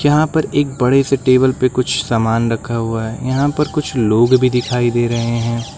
यहां पर एक बड़े से टेबल पे कुछ सामान रखा हुआ है यहां पर कुछ लोग भी दिखाई दे रहे हैं।